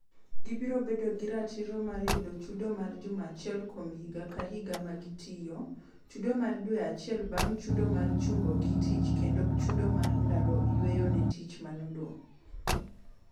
Gibiro bedo gi ratiro mar yudo chudo mar juma achiel kuom higa ka higa ma gitiyo, chudo mar dwe acheil bang' chudo mar chungogi tich kendo chudo mag dalo yweyo ne tich manodong'.